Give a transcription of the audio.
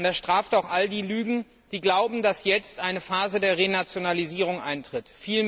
Und er straft auch alle jene Lügen, die glauben, dass jetzt eine Phase der Renationalisierung eintritt.